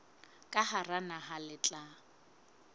ka hara naha le tla